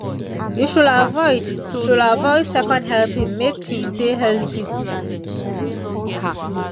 you should avoid should avoid second helpings make you stay healthy.